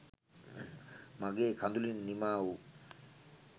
මගෙ කඳුළින් නිමාවූ